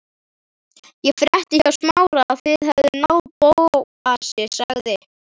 Ég frétti hjá Smára að þið hefðuð náð Bóasi sagði